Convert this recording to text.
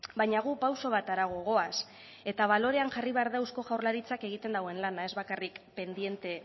baina gu pauso bat harago goaz eta balorean jarri behar da eusko jaurlaritzak egiten duen lana ez bakarrik pendiente